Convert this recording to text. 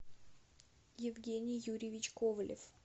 евгений юрьевич ковалев